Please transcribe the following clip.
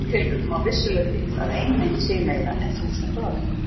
Í slíkum tilvikum á vissulega við að ein mynd segi meira en þúsund orð.